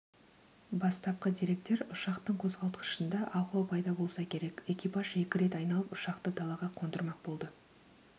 бастапқы деректер ұшақтың қозғалтқышында ақау пайда болса керек экипаж екі рет айналып ұшақты далаға қондырмақ болды